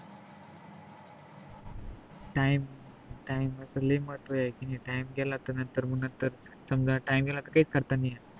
time time चा लई महत्व आहे कि time गेला तर मग नंतर समजा time ला काय नाही करता येत